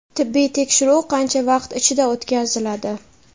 Tibbiy tekshiruv qancha vaqt ichida o‘tkaziladi?.